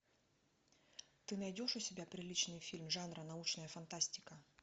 ты найдешь у себя приличный фильм жанра научная фантастика